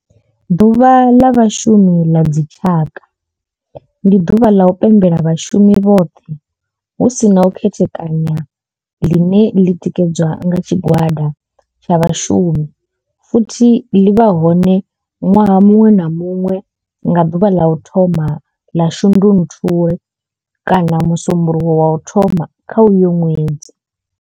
Ḓuvha la Vhashumi ḽa dzi tshaka, ndi duvha ḽa u pembela vhashumi vhothe hu si na u khethekanya ḽine ḽi tikedzwa nga tshigwada tsha vhashumi futhi ḽi vha hone nwaha munwe na munwe nga duvha ḽa u thoma 1 ḽa Shundunthule kana musumbulowo wa u thoma kha uyo nwedzi.